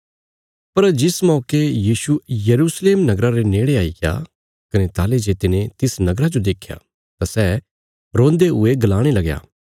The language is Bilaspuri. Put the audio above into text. पर जिस मौके यीशु यरूशलेम नगरा रे नेड़े आईग्या कने ताहली जे तिने तिस नगरा जो देख्या तां सै रोन्दे हुये गलाणे लगया